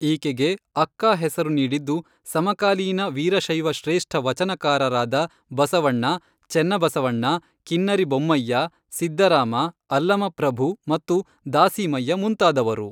ಈಕೆಗೆ ಅಕ್ಕ ಹೆಸರು ನೀಡಿದ್ದು, ಸಮಕಾಲೀನ ವೀರಶೈವ ಶ್ರೇಷ್ಠ ವಚನಕಾರರಾದ, ಬಸವಣ್ಣ, ಚೆನ್ನಬಸವಣ್ಣ, ಕಿನ್ನರಿ ಬೊಮ್ಮಯ್ಯ, ಸಿದ್ದರಾಮ, ಅಲ್ಲಮಪ್ರಭು ಮತ್ತು ದಾಸೀಮಯ್ಯ ಮುಂತಾದವರು